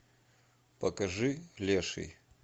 покажи леший